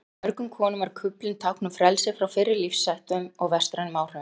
Fyrir mörgum konum var kuflinn tákn um frelsi frá fyrri lífsháttum og vestrænum áhrifum.